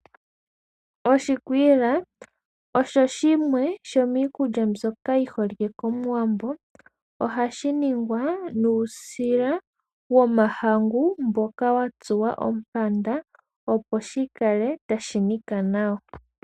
Oshikwiila osho shimwe shomiikulya mbyoka yi holike kOmuwambo. Ohashi ningwa nuusila womahangu mboka wa tsuwa ompanda, opo shi kale tashi nika nawa.